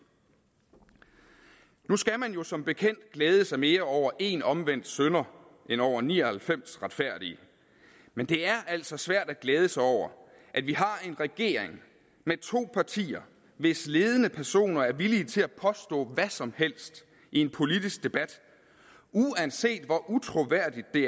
nu skal man jo som bekendt glæde sig mere over en omvendt synder end over ni og halvfems retfærdige men det er altså svært at glæde sig over at vi har en regering med to partier hvis ledende personer er villige til at påstå hvad som helst i en politisk debat uanset hvor utroværdigt det